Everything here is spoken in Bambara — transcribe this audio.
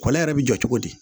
Kɔlɛ yɛrɛ bɛ jɔ cogo di